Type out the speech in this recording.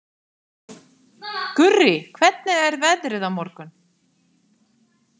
Gurrí, hvernig er veðrið á morgun?